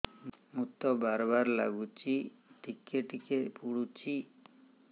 ମୁତ ବାର୍ ବାର୍ ଲାଗୁଚି ଟିକେ ଟିକେ ପୁଡୁଚି